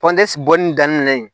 bɔli daminɛ yen